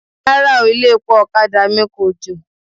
Rárá o, ilé-epo ọ̀kadà mi kòjò.